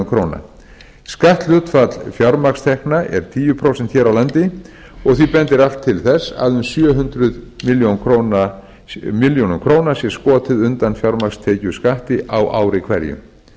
króna skatthlutfall fjármagnstekna er tíu prósent hér á landi og því bendir allt til þess að um sjö hundruð milljóna króna sé skotið undan fjármagnstekjuskatti á ári hverju auðveldlega má koma í veg fyrir